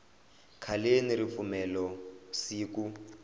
khaleni ripfumelo siku